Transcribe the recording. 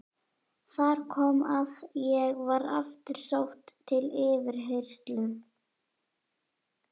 Þar kom að ég var aftur sótt til yfirheyrslu.